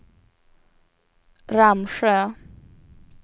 Ramsjö